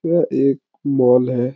यह एक मॉल है।